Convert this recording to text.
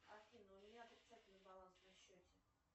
афина у меня отрицательный баланс на счете